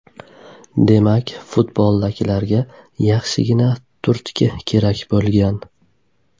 Demak, futboldagilarga yaxshigina turtki kerak bo‘lgan.